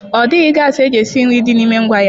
Ọ dịghị gasị eji esi nri dị n'ime ngwá ya.